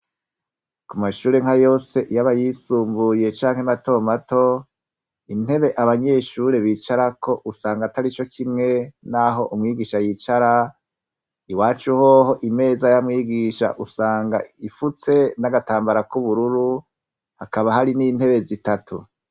Ku mashuri nka yose yaba yisumbuye canke matomato, intebe abanyeshure bicarako usanga atari cokimwe n'aho umwigisha yicara iwaca uhoho imeza y'amwigisha usanga ifutse n'agatambara k'ubururu hakaba hari n'intebe zitatu.